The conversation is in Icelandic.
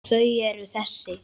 Þau eru þessi: